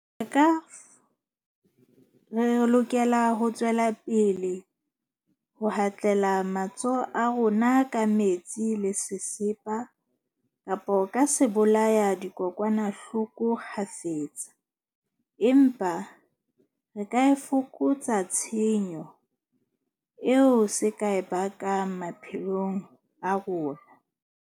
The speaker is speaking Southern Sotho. Ka, re lokela ho tswela pele ho hatlela matsoho a rona ka metsi le sesepa kapa ka sebolayadikokwanahloko kgafetsa. Empa re ka e fokotsa tshenyo eo se ka e bakang maphelong a rona.